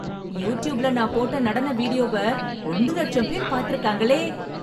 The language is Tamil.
யூட்யூப்ல நான் போட்ட நடன வீடியோவை, ரெண்டு லட்சம் பேர் பாத்துருக்காங்களே..